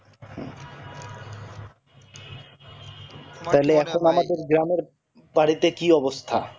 তাহলে এখন আমাদের গ্রামের কি বাড়িতে অবস্থা